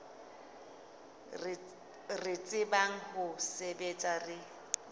re tsebang ho sebetsa re